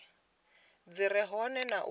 dzi re hone na u